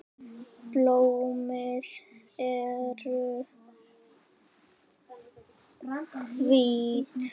Blómin eru hvít.